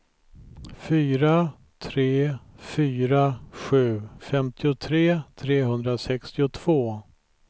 fyra tre fyra sju femtiotre trehundrasextiotvå